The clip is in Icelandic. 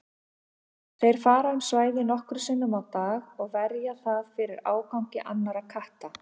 Þeir fara um svæðið nokkrum sinnum á dag og verja það fyrir ágangi annarra katta.